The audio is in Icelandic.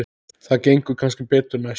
Það gengur kannski betur næst.